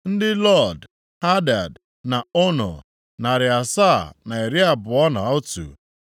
ndị Lod, Hadid, na Ono, narị asaa na iri abụọ na otu (721),